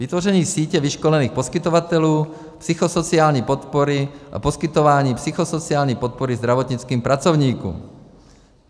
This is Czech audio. Vytvoření sítě vyškolených poskytovatelů psychosociální podpory a poskytování psychosociální podpory zdravotnickým pracovníkům.